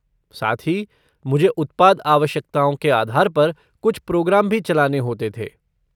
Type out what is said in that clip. साथ ही, मुझे उत्पाद आवश्यकताओं के आधार पर कुछ प्रोग्राम भी चलाने होते थे।